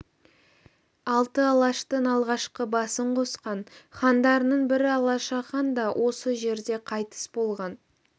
алты алаштың алғашқы басын қосқан хандарының бірі алашахан да осы жерде қайтыс болған